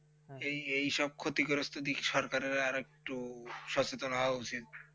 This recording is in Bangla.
যেই সব ক্ষতিগ্রস্ত দিক সরকারের আর একটু সচেত রাহা উচিত